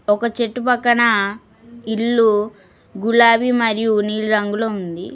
ఒక చెట్టు పక్కన ఇల్లు గులాబీ మరియు నీళ్లు రంగులో ఉంది.